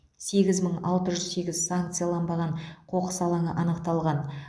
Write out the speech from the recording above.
сегіз мың алты жүз сегіз санкцияланбаған қоқыс алаңы анықталған